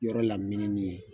Yɔrɔ lamininin ye